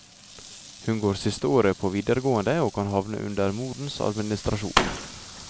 Hun går sisteåret på videregående og kan havne under morens administrasjon.